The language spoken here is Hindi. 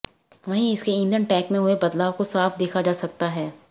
वहीं इसके इंधन टैंक में हुए बदलाव को साफ देखा जा सकता है